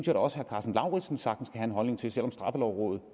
da også herre karsten lauritzen sagtens kan have en holdning til selv om straffelovrådet